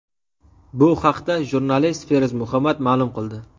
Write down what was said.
Bu haqda jurnalist Feruz Muhammad ma’lum qildi.